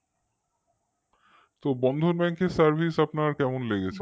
তো Bandhan Bank র service আপনার কেমন লেগেছে?